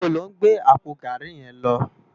Nibó ló n gbé àpó gàrí yèn lò?